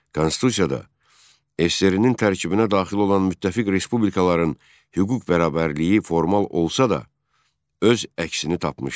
Konstitusiyada SSRİ-nin tərkibinə daxil olan müttəfiq respublikaların hüquq bərabərliyi formal olsa da, öz əksini tapmışdı.